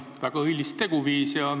Väga õilis teguviis.